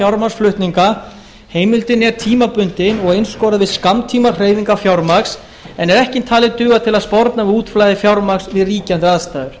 fjármagnsflutninga heimildin er tímabundin og einskorðuð við skammtímahreyfingar fjármagns en er ekki talin duga til að sporna við útflæði fjármagns við ríkjandi aðstæður